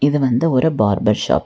இது வந்து ஒரு பார்பர் ஷாப் .